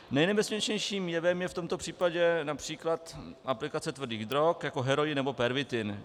Nejnebezpečnějším jevem je v tomto případě například aplikace tvrdých drog jako heroin nebo pervitin.